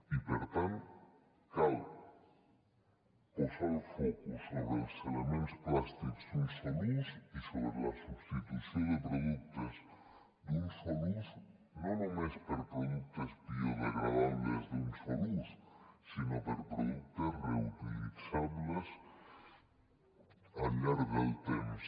i per tant cal posar el focus sobre els elements plàstics d’un sol ús i sobre la substitució de productes d’un sol ús no només per productes biodegradables d’un sol ús sinó per productes reutilitzables al llarg del temps